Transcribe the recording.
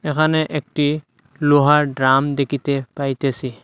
এখানে একটি লোহার ড্রাম দেখিতে পাইতেসি।